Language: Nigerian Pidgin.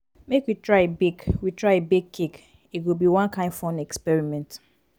make we try bake we try bake cake e go be one kain fun experiment.